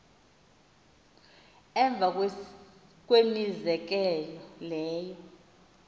emva kwemizekelo leyo